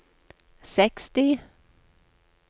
seksti